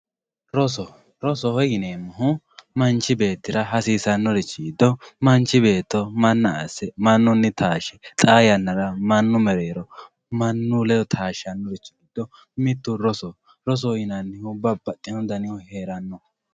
roso rosoho yineemmohu manchi beettira hasiisannoho hasiisannorichi giddo manchi beetto manna asse mannunni taashshe xaa yannara mnanu mereero mannu ledo taashshannorichi giddo mittu rosoho rosoho yinannihu babbaxino danihu heeranno